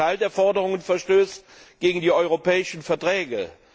Ein Teil der Forderungen verstößt gegen die europäischen Verträge.